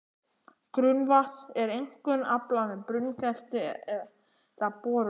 Grunnvatns er einkum aflað með brunngrefti eða borunum.